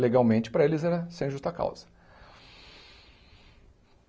Legalmente, para eles, era sem justa causa.